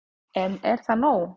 En er það nóg